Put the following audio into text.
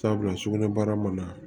Sabula sugunɛbara mana